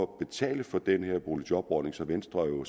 betale for den her boligjobordning som venstre jo